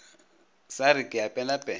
sa re ke a penapena